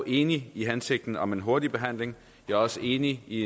enig i hensigten om en hurtig behandling jeg er også enig i